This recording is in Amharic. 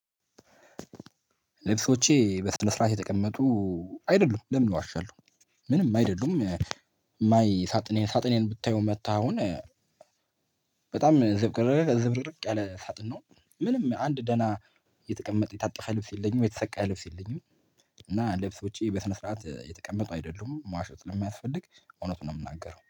ልብሶቼ በስነ ስርዓት የተቀመጡ አይደሉም። ለምን እዋሻለሁ? ምንም አይደሉም ማይ ሳጥኔን ሳጥኔን ብታየው መታ አሁን በጣም ዝብርቅርቅ ያለ ሳጥን ነው። ምንም አንድ ደህና የተቀመጠ የታጠፈ ልብስ የለኝም የተሰቀለ ልብስ የለኝም እና ልብሶቼ በስነ ስርዓት የተቀመጡ አይደሉም መዋሸት ለማያስፈልግ እውነቱን ነው የምናገረው።